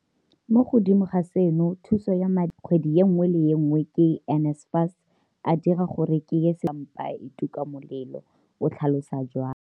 Mo godimo ga seno, thuso ya madi a a duelelwang kgwedi e nngwe le e nngwe ke NSFAS a dira gore ke ye sekolong le go robala ka mpa e tuka molelo, o tlhalosa jalo.